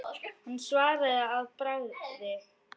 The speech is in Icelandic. Hann svaraði að bragði.